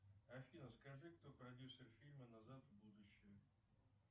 афина скажи кто продюсер фильма назад в будущее